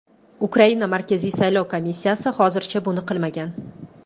Ukraina Markaziy saylov komissiyasi hozircha buni qilmagan.